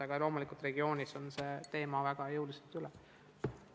Aga loomulikult mõnes regioonis on see teema väga jõuliselt üleval.